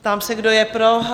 Ptám se, kdo je pro?